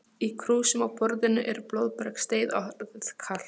Í krúsum á borðinu er blóðbergsteið orðið kalt.